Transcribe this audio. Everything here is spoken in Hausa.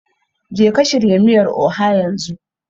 Jeka shirya miyar Oha yanzu